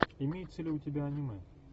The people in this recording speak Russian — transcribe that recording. имеется ли у тебя аниме